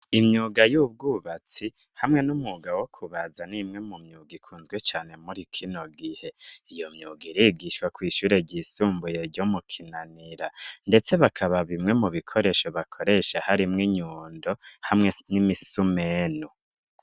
Imyuga y'ubwubatsi hamwe n'umwuga wo kubaza, ni imwe mu myuga ikunzwe cane muri kino gihe. Iyo myuga irigishwa kw'ishure ryisumbuye ryo mu Kinanira, ndetse bakaba bimwe mu bikoresho bakoresha harimwo inyundo hamwe n'imisumeno.